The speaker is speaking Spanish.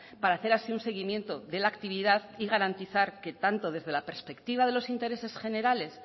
para hacer así un seguimiento de la actividad y garantizar que tanto desde la perspectiva de los intereses generales